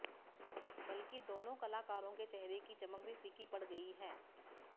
बल्कि दोनों कलाकारों के चेहरे की चमक भी फिंकी पड़ गई है